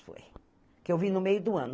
Foi. Que eu vim no meio do ano.